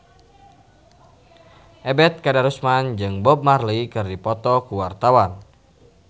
Ebet Kadarusman jeung Bob Marley keur dipoto ku wartawan